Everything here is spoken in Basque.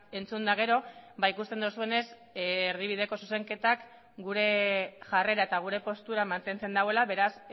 entzun eta gero ikusten duzuenez erdibideko zuzenketak gure jarrera eta gure postura mantentzen duela beraz